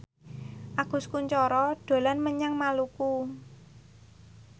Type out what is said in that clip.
Agus Kuncoro dolan menyang Maluku